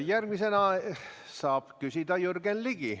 Järgmisena saab küsida Jürgen Ligi.